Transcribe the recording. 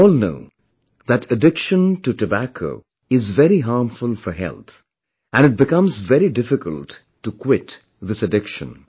We all know that addiction to tobacco is very harmful for health and it becomes very difficult to quit this addiction